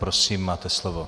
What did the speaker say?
Prosím, máte slovo.